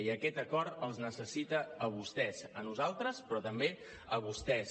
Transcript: i aquest acord els necessita a vostès a nosaltres però també a vostès